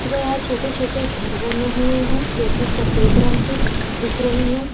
तथा यहाँ छोटे-छोटे घर बने हुए है जो कि सफेद रंग के दिख रही है।